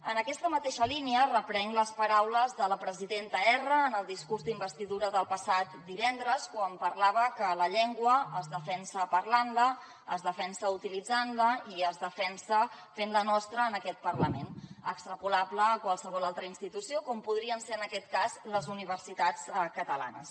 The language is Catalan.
en aquesta mateixa línia reprenc les paraules de la presidenta erra en el discurs d’investidura del passat divendres quan parlava que la llengua es defensa parlant la es defensa utilitzant la i es defensa fent la nostra en aquest parlament extrapolable a qualsevol altra institució com podrien ser en aquest cas les universitats catalanes